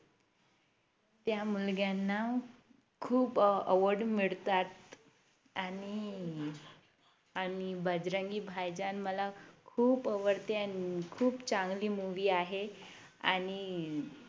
त्या मुलग्यांना खूप Award मिळतात आणि आणि बजरंगी भाईजान मला खूप आवडते आणि खूप चांगली Movie आहे आणि